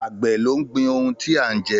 Àgbẹ̀ ló ń gbin ohùn tí a ń jẹ